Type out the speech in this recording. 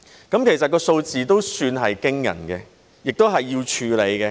這數字都算驚人，亦需要處理。